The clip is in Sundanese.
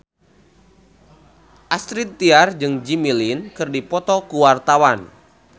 Astrid Tiar jeung Jimmy Lin keur dipoto ku wartawan